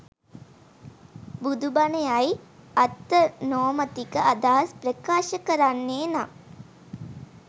බුදුබණ යයි අත්තනෝමතික අදහස් ප්‍රකාශ කරන්නේ නම්